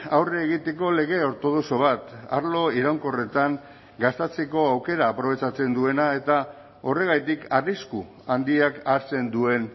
aurre egiteko lege ortodoxo bat arlo iraunkorretan gastatzeko aukera aprobetxatzen duena eta horregatik arrisku handiak hartzen duen